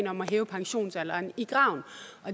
om at hæve pensionsalderen i graven